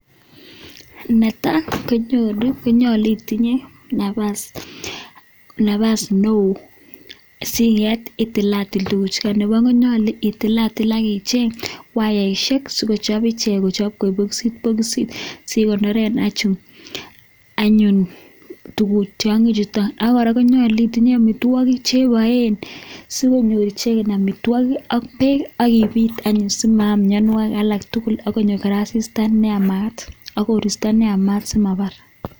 Netai konyolu itinye nafas neo singet itilatil tuguchukan, nebo oeng konyolu itilatil ak icheng wayaishek si kochob ichek kochob koik boxit boxit sikoneren anyun tiang'ik chuto. Ak kora konyolu itinye amitwogik che iboen sikonyor icheget amitwogik ak beek ak ibit anyun simaam mianwogik ak tugul. Ak konyo kora asista ne yamaat ak koristo kora neyamaat simabar.